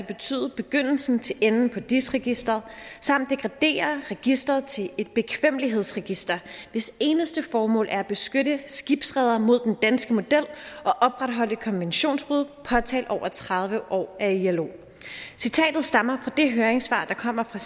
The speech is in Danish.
betyde begyndelsen til enden på dis registret samt degradere registret til et bekvemmelighedsregister hvis eneste formål er at beskytte skibsredere mod den danske model og opretholde konventionsbrud påtalt over tredive år af ilo citatet stammer fra det høringssvar der kommer fra